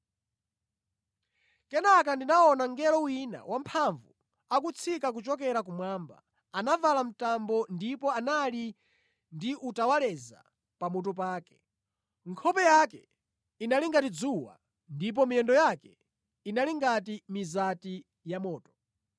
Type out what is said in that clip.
Kenaka ndinaona mngelo wina wamphamvu akutsika kuchokera kumwamba. Anavala mtambo ndipo anali ndi utawaleza pamutu pake. Nkhope yake inali ngati dzuwa, ndipo miyendo yake inali ngati mizati yamoto.